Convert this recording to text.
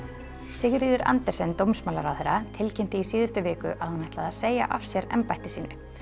Sigríður Andersen dómsmálaráðherra tilkynnti í síðustu viku að hún ætlaði að segja af sér embætti sínu